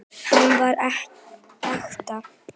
Hann var ekta.